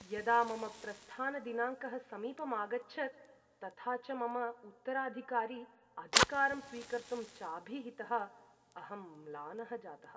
यदा मम प्रस्थानदिनाङ्कः समीपम् आगच्छत्, तथा च मम उत्तराधिकारी अधिकारं स्वीकर्तुं चाभिहितः, अहं म्लानः जातः।